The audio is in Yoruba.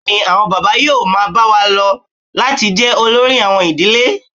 Bẹ́ẹ̀ ni, àwọn bàbá yóò máa bá a lọ láti jẹ́ olórí àwọn ìdílé